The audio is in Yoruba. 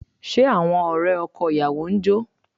Ṣé àwọn ọ̀rẹ́ ọkọ ìyàwó ń jó?